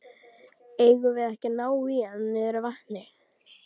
Eigum við ekki að ná í hann niður að vatni?